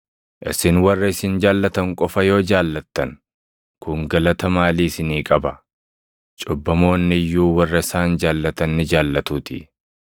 “Isin warra isin jaallatan qofa yoo jaallattan, kun galata maalii isinii qaba? Cubbamoonni iyyuu warra isaan jaallatan ni jaallatuutii.